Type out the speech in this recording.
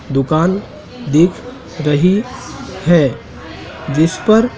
दुकान दिख रही है जिस पर--